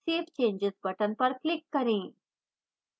save changes button पर click करें